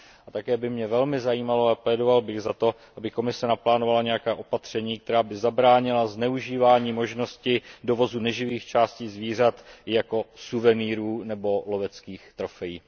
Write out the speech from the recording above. A také by mě velmi zajímalo a zasazoval bych se o to, aby Komise naplánovala nějaká opatření, která by zabránila zneužívání možnosti dovozu neživých částí zvířat jako suvenýrů nebo loveckých trofejí.